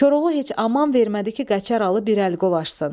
Koroğlu heç aman vermədi ki, Qəçər Alı bir əl qolaşsın.